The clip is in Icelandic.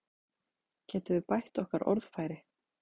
Getum við bætt okkar orðfæri?